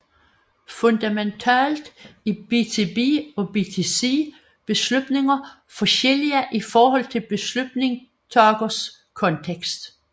Fundamentalt er BtB og BtC beslutninger forskellige i forhold til beslutningstagers kontekst